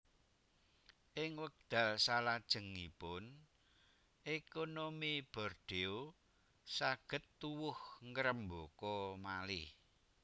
Ing wekdal salajengipun ékonomi Bordeaux saged tuwuh ngrembaka malih